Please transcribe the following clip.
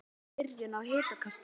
Það gæti verið byrjun á hitakasti